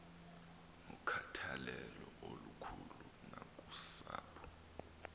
nokhathalelo olukhulu nakusapho